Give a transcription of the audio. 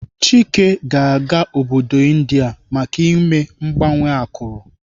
Chike ga-aga obodo India maka ime mgbanwe akụrụ.